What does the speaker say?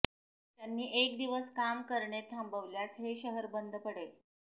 त्यांनी एक दिवस काम करणे थांबवल्यास हे शहर बंद पडेल